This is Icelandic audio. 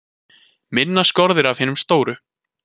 Minna skorið af hinum stóru